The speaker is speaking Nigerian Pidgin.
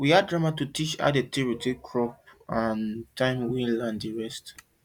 we act drama to teach how dem take dey rotate crop and time wey land dey rest